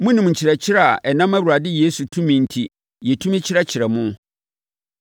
Monim nkyerɛkyerɛ a ɛnam Awurade Yesu tumi enti, yɛtumi kyerɛkyerɛɛ mo.